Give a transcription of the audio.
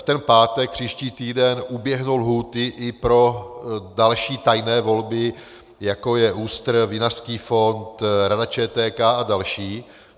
V ten pátek příští týden uběhnou lhůty i pro další tajné volby, jako je ÚSTR, Vinařský fond, Rada ČTK a další.